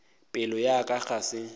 pelo ya ka ga se